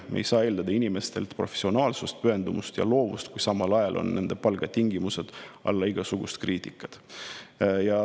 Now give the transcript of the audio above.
Me ei saa eeldada inimestelt professionaalsust, pühendumust ja loovust, kui nende palgatingimused on alla igasugust kriitikat.